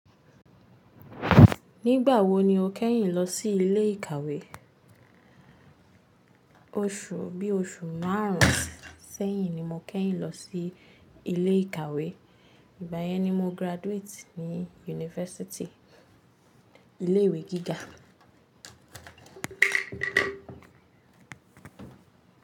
Nígbà wo ni o kẹ́yìn lọ sí ilé ìkàwé Bi oṣù márùn sẹ́yìn ni mo kẹ́yìn lọ sí ilé ìkàwé. Ìgbayẹn ni mo graduate ní yunifásítì, ilé ìwé gíga.